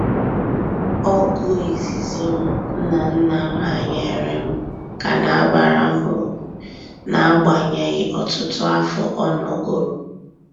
Ọgụ izizi m nna nna m hanyere m ka na abara m uru n'agbanyeghị ọtụtụ afọ ọ nọgoro